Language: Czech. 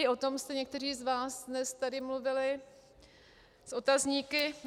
I o tom jste někteří z vás dnes tady mluvili s otazníky.